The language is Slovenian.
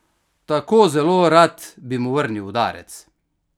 Tako zelo rad bi mu vrnil udarec!